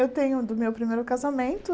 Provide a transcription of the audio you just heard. Eu tenho o do meu primeiro casamento.